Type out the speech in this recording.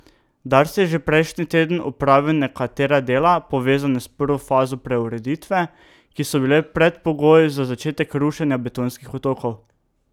Dars je že prejšnji teden opravil nekatera dela, povezana s prvo fazo preureditve, ki so bila predpogoj za začetek rušenja betonskih otokov.